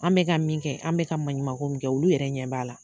An bɛ ka min kɛ, an bɛ ka maɲumako min kɛ, olu yɛrɛ ɲɛ b'a la.